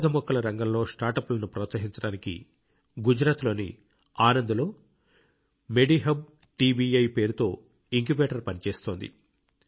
ఔషధ మొక్కల రంగంలో స్టార్టప్లను ప్రోత్సహించడానికి గుజరాత్లోని ఆనంద్లో మెడిహబ్ టీబీఐ పేరుతో ఇంక్యుబేటర్ పనిచేస్తోంది